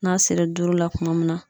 N'a sera duuru la kuma min na